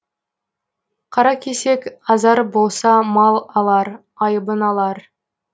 қаракесек азар болса мал алар айыбын алар